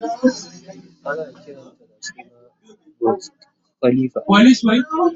Ana kiranta da suna "Burj Al khalifa"